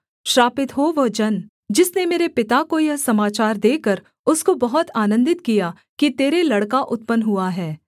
श्रापित हो वह जन जिसने मेरे पिता को यह समाचार देकर उसको बहुत आनन्दित किया कि तेरे लड़का उत्पन्न हुआ है